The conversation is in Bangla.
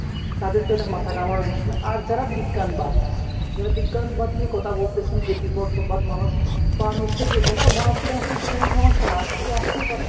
তাদের তো এটা মাথা ঘামানোর বিষয় নয়। আর যারা বিজ্ঞানবাদ যারা বিজ্ঞানবাদ নিয়ে কথা বলতেছেন যে বিবর্তনবাদ মানুষ বানর থেকে এসেছে আচ্ছা বানর থেকে আসলে তো কোনো সমস্যা না আসলে আসতেই পারে।